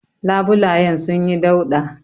Labulayen sunyi dauɗa.